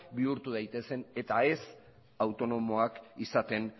bihurtu daitezen eta ez autonomoak izaten